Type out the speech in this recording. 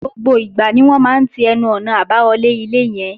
Gbogbo ìgbà ni wọ́n máa ń ti ẹnu-ọ̀nà àbáwọlé ilé yẹn